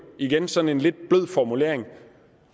igen sådan en lidt blød formulering